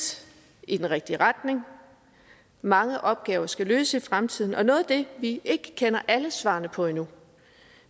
i den rigtige retning mange opgaver skal løses i fremtiden og noget af det vi ikke kender alle svarene på endnu